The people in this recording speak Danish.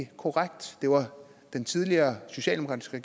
korrekt det var den tidligere socialdemokratiske